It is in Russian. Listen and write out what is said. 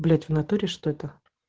блять в натуре что-то